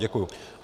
Děkuji.